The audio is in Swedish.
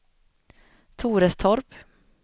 Torestorp